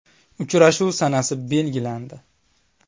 Uchrashuv sanasi belgilandi.